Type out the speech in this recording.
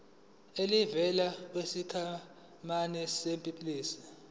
elivela kwisikhwama sempesheni